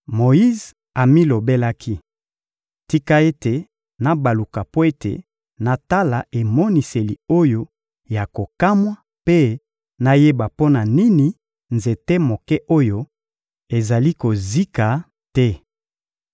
Moyize amilobelaki: «Tika ete nabaluka mpo ete natala emoniseli oyo ya kokamwa mpe nayeba mpo na nini nzete moke oyo ezali kozika te.»